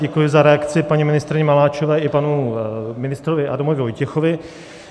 Děkuji za reakci paní ministryni Maláčové i panu ministrovi Adamu Vojtěchovi.